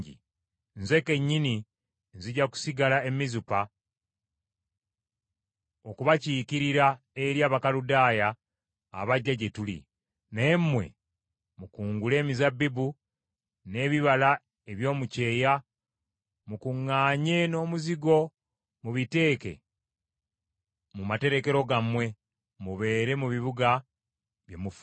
Nze kennyini nzija kusigala e Mizupa okubakiikirira eri Abakaludaaya abajja gye tuli, naye mmwe mukungule emizabbibu, n’ebibala eby’omu kyeya, mukuŋŋaanye n’omuzigo mubiteeke mu materekero gammwe, mubeere mu bibuga bye mufuga.”